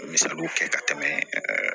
Misaliw kɛ ka tɛmɛ